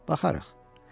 “Baxarıq.